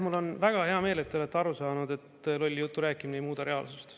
Mul on väga hea meel, et te olete aru saanud, et lolli jutu rääkimine ei muuda reaalsust.